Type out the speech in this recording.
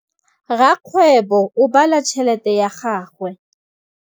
Rakgwêbô o bala tšheletê ya gagwe.